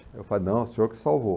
Eu falo, não, o senhor que salvou.